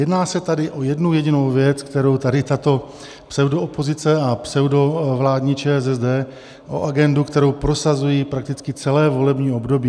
Jedná se tady o jednu jedinou věc, kterou tady tato pseudoopozice a pseudovládní ČSSD, o agendu, kterou prosazují prakticky celé volební období.